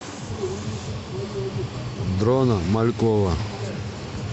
дрона малькова